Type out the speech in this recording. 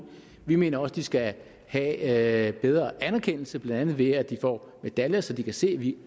vi mener også de skal have bedre anerkendelse blandt andet ved at de får medaljer så de kan se at vi